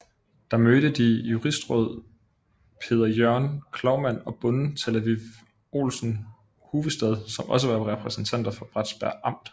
Der mødte de justisråd Peder Jørgen Cloumann og bonden Talleiv Olsen Huvestad som også var repræsentanter for Bratsberg Amt